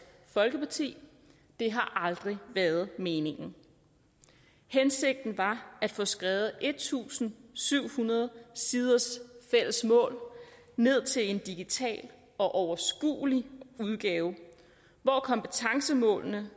folkeparti det har aldrig været meningen hensigten var at få skrevet en tusind syv hundrede siders fælles mål ned til en digital og overskuelig udgave hvor kompetencemålene